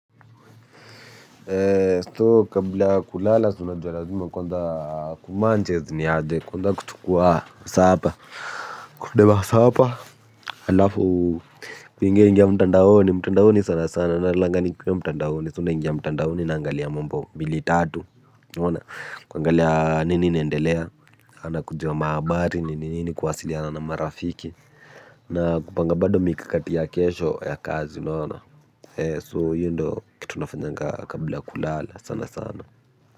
So kabla kulala si unajua lazima kwanza kumanchez niaje kuenda kuchukua sapa Kudema sapa halafu kuingia ingia mtandaoni mtandaoni sana sana nalalanga nikiwa mtandaoni So naingia mtandaoni naangalia mambo mbili tatu unaona kuangalia nini inaendelea sana kujua mahabari nini nini kuwasiliana na marafiki. Na kupanga bado mikakati ya kesho ya kazi unaona so hiyo ndio kitu nafanyanga kabla kulala sana sana.